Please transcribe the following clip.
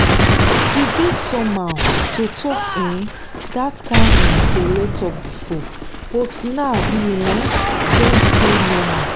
e dey somehow to talk um that kind um belle talk before but now e um don dey normal.